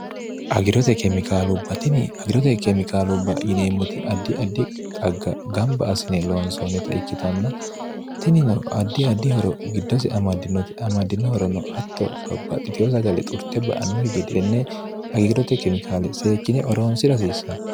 agirote kemikaalubbatini agirote keemikaalu ba yineemmoti addi addi xagg gamba asine loonsoonita ikkitanna tinino addi addihoro giddosi amaddinoti amaddinohorono atto bbbaxxitiyo sagale xurte ba annuhi gedenne agiirote kemikaale seekkine oroonsi rasiissanno